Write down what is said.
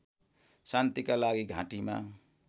शान्तिका लागि घाँटीमा